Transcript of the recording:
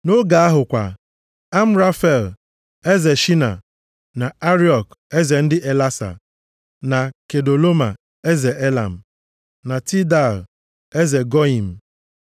Nʼoge ahụ kwa, Amrafel, eze Shaịna, na Ariok, eze ndị Elasa, na Kedoloma eze Elam, na Tidal eze Goiim,